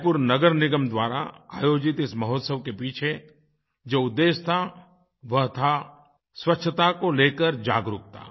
रायपुर नगर निगम द्वारा आयोजित इस महोत्सव के पीछे जो उद्देश्य था वह था स्वच्छता को लेकर जागरूकता